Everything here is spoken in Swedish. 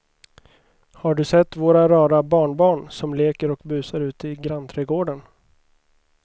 Har du sett våra rara barnbarn som leker och busar ute i grannträdgården!